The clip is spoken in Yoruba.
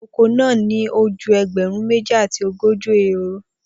Oko naa ni o ju ẹgbẹrun meji ati ogoji ehoro